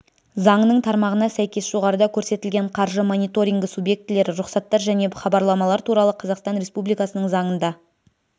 заңының тармағына сәйкес жоғарыда көрсетілген қаржы мониторингі субъектілері рұқсаттар және хабарламалар туралы қазақстан республикасының заңында